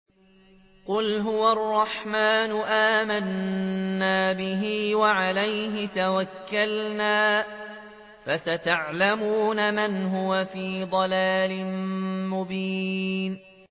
قُلْ هُوَ الرَّحْمَٰنُ آمَنَّا بِهِ وَعَلَيْهِ تَوَكَّلْنَا ۖ فَسَتَعْلَمُونَ مَنْ هُوَ فِي ضَلَالٍ مُّبِينٍ